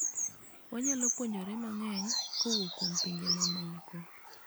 wanyalo puonjore mang'eny kowuok kuom pinje mamoko